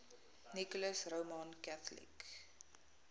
nicholas roman catholic